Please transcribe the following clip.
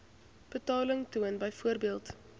betaling toon byvoorbeeld